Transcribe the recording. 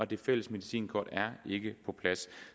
det fælles medicinkort ikke er på plads